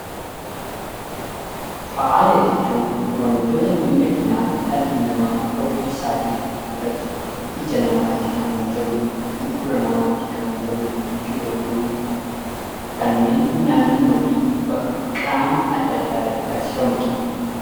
Faaya jechuun wantoota miidhaginaa dhalli namaa ofii isaaf godhatu, ija namaatti kan tolu, gurra namaatti kan tolu yeroo ta'u, kanneen naannoo fi qaama adda addaa irratti taasifamudha.